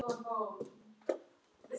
Fleiri stígi sömu skref?